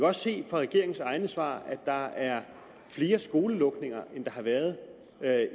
også af regeringens egne svar at der er flere skolelukninger end der har været